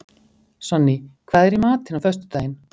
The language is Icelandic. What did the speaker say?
Sonný, hvað er í matinn á föstudaginn?